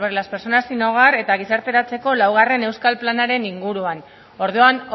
las personas sin hogar eta gizarteratzeko laugarren euskal planaren inguruan orduan